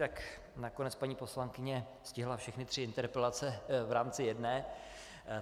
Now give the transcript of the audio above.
Tak nakonec paní poslankyně stihla všechny tři interpelace v rámci jedné.